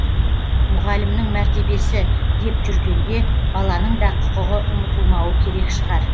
мұғалімнің мәртебесі деп жүргенде баланың да құқығы ұмытылмауы керек шығар